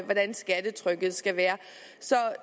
hvordan skattetrykket skal være så